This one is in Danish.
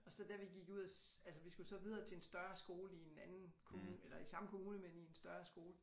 Og så da vi gik ud af altså vi skulle så videre til en større skole i en anden kommune eller i samme kommune men en større skole